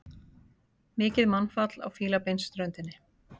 Mikið mannfall á Fílabeinsströndinni